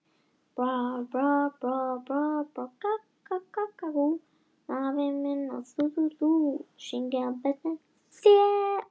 Hann hefur átt við sín vandamál, en þú verður að muna hversu ungur hann er.